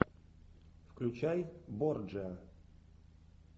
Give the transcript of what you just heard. включай борджиа